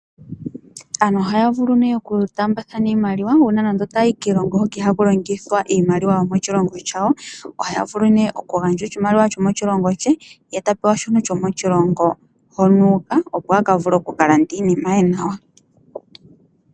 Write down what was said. Aantu uhaya vulu oku taambathana iimaliwa uuna nando otaayi kiilongo hoka ihaku longithwa shomoshilongo shawo, ohaya vulu nee okugandja oshimaliwa shomoshilongo shawo ye tapewa oshimaliwa shomoshilongo hono uuka opo avule aka lande iinima ye nawa.